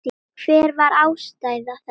Hver var ástæða þess?